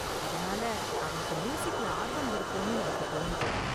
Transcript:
அதனால, அவனுக்கு மியூசிக்ல ஆர்வம் இருக்கோனு எனக்கு தோணுது.